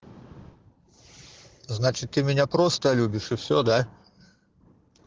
значит ты меня просто любишь и всё да